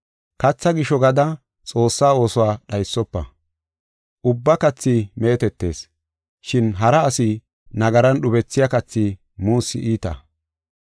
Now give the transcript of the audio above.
Katha gisho gada Xoossaa oosuwa dhaysofa. Ubba kathi meetetees, shin hara asi nagaran dhubisiya kathi muussi iita.